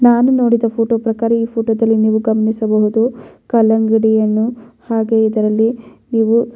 ನಾನು ನೋಡಿದ ಫೋಟೋ ಪ್ರಕಾರ ಈ ಫೋಟೋದಲ್ಲಿ ನೀವು ಗಮನಿಸಬಹುದು ಕಲ್ಲಂಗಡಿ ಹಣ್ಣು ಹಾಗೆ ಇದರಲ್ಲಿ ನೀವು --